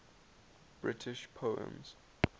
british poems